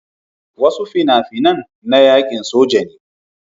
Wasu fina-finan na yaƙin soja ne.